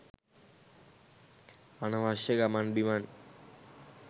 අනවශ්‍ය ගමන් බිමන්